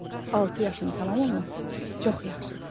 Altı yaşın tamam olması çox yaxşıdır.